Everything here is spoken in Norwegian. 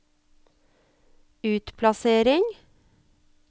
utplassering